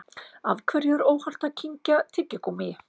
Af hverju er óhollt að kyngja tyggigúmmíi?